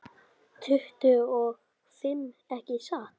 Tuttugu og fimm, ekki satt?